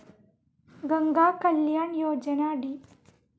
Ganga Kalyan Yojana, D.